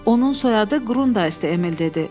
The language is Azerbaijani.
Onun soyadı Qrundayzdir, Emil dedi.